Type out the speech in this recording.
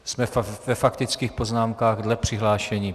Jsme ve faktických poznámkách dle přihlášení.